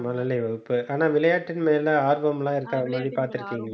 மழலை வகுப்பு ஆனா விளையாட்டின் மேல ஆர்வம் எல்லாம் இருக்காத மாதிரி பார்த்திருக்கீங்களா